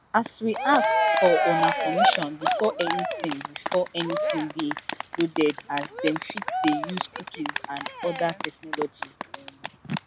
we ask for una permission before anytin before anytin dey loaded as dem fit dey use cookies and oda technologies um